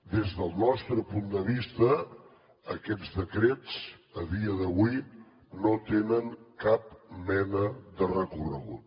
des del nostre punt de vista aquests decrets a dia d’avui no tenen cap mena de recorregut